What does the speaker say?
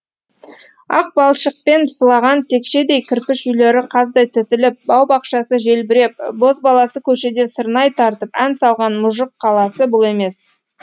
ақ балшықпен сылаған текшедей кірпіш үйлері қаздай тізіліп бау бақшасы желбіреп бозбаласы көшеде сырнай тартып ән салған мұжық қаласы бұл емес